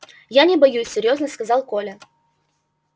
я не боюсь серьёзно сказал коля